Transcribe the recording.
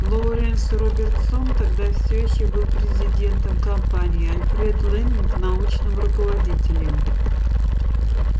лоуренс робертсон тогда всё ещё был президентом компании альфред лэннинг научным руководителем